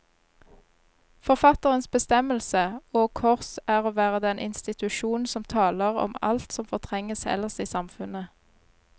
Forfatterens bestemmelse, og kors, er å være den institusjon som taler om alt som fortrenges ellers i samfunnet.